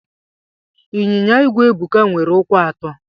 Inyinya igwe Ebuka nwere ụkwụ atọ.